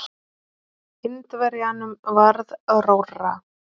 Indverjanum varð rórra.